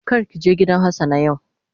Kar ki je gidan hassana yau.